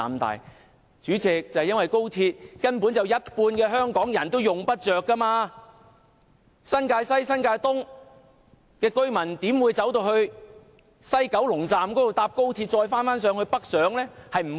代理主席，因為有一半港人根本用不着高鐵，新界西及新界東的居民不會前往西九龍站，再乘搭高鐵北上。